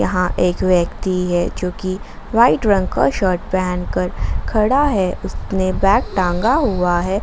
वहां एक व्यक्ति है जो कि वाइट रंग का शर्ट पहन कर खड़ा है उसने बैग टांगा हुआ है।